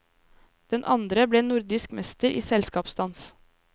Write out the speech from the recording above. Den andre ble nordisk mester i selskapsdans.